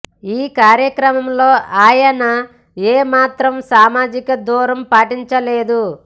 ఈ కార్యక్రమంలో ఆయన ఏ మాత్రం సామాజిక దూరం పాటించలేదు